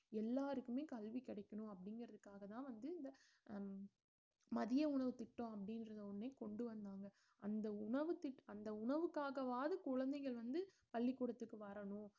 எல்லாருக்குமே கல்வி கிடைக்கணும் அப்படிங்கறதுக்காகதான் வந்து இந்த ஹம் மதிய உணவுத் திட்டம் அப்படின்றத ஒண்ணே கொண்டுவந்தாங்க அந்த உணவு திட்~ அந்த உணவுக்காகவாவது குழந்தைகள் வந்து பள்ளிக்கூடத்துக்கு வரணும்